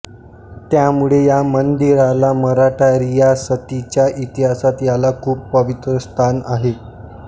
त्यामुळे या मंदिराला मराठा रियासतीच्या इतिहासात याला खूप पवित्र स्थान आहे